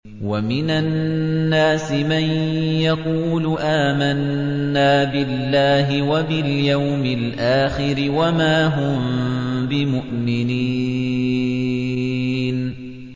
وَمِنَ النَّاسِ مَن يَقُولُ آمَنَّا بِاللَّهِ وَبِالْيَوْمِ الْآخِرِ وَمَا هُم بِمُؤْمِنِينَ